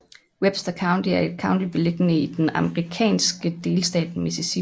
Webster County er et county beliggende midt i den amerikanske delstat Mississippi